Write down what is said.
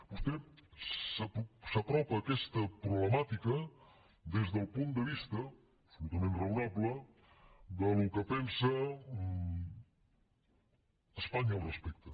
vostè s’apropa a aquesta problemàtica des del punt de vista absolutament raonable del que pensa espanya al respecte